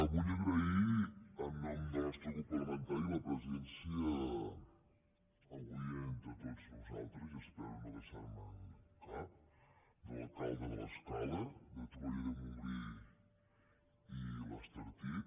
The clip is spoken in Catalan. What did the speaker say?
vull agrair en nom del nostre grup parlamentari la pre·sència avui entre tots nosaltres i espero no deixar·me’n cap dels alcaldes de l’escala de torroella de montgrí i l’estartit